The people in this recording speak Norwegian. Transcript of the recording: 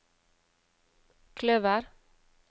kløver